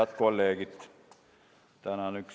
Head kolleegid!